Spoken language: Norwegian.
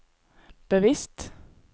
bevisst